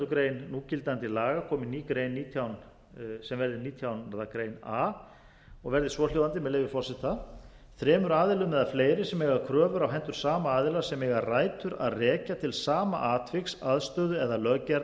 grein núgildandi laga komi ný grein sem verði nítjánda grein a og verði svohljóðandi með leyfi forseta þremur aðilum eða fleiri sem eiga kröfur á hendur sama aðila sem eiga rætur að rekja til sama atviks aðstöðu eða